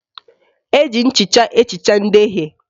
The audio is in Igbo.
Eji nchịcha ehicha ndeghie